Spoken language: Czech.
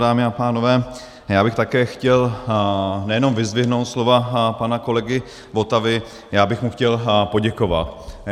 Dámy a pánové, já bych také chtěl nejenom vyzdvihnout slova pana kolegy Votavy, já bych mu chtěl poděkovat.